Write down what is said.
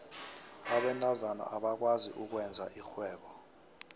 abentazana abakwazi ukwenza irhwebo